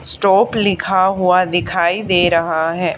Stop लिखा हुआ दिखाई दे रहा है।